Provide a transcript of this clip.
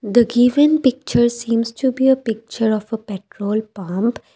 the given pictures hims to be a picture of a petrol pump.